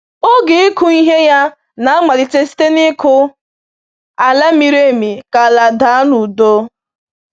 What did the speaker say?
Oge ịkụ ihe ya na-amalite site n’ịkụ ala miri emi ka ala daa n’udo.